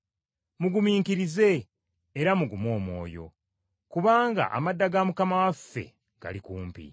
Mugumiikirize, era mugume omwoyo, kubanga amadda ga Mukama waffe gali kumpi.